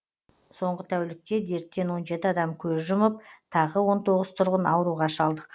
соңғы тәулікте дерттен он жеті адам көз жұмып тағы он тоғыз тұрғын ауруға шалдыққан